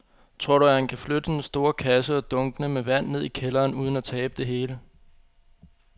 Tror du, at han kan flytte den store kasse og dunkene med vand ned i kælderen uden at tabe det hele?